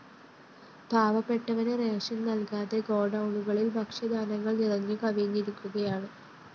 പാവപ്പെട്ടവന് rations നല്‍കാതെ ഗോഡൗണുകളില്‍ ഭക്ഷ്യധാന്യങ്ങള്‍ നിറഞ്ഞുകവിഞ്ഞിരിക്കുകയാണ്